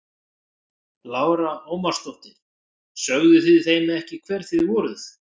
Lára Ómarsdóttir: Sögðuð þið þeim ekki hver þið voruð?